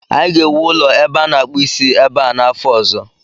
Anyị ga-ewu ụlọ ebe a na-akpụ isi ebe a n'afọ ọzọ